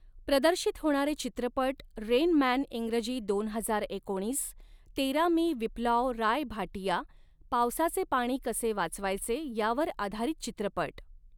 प्रदर्शित होणारे चित्रपट रेन मॅन इंग्रजी दोन हजार एकोणीस तेरा मि विप्लॉव राय भाटिया पावसाचे पाणी कसे वाचवायचे यावर आधारित चित्रपट.